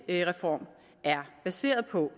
reform er baseret på